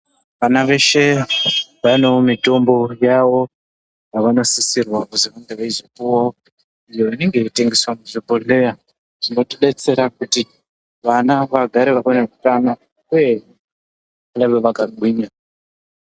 Vana veshe vanewo mitombo yavo, yavanosisirwa kuzwi vange veizopuwa ,iyo inenge yeitengeswa muzvibhodhleya, zvinotidetsera kuti vana vagare vane hutano, uye vave vakagwinya.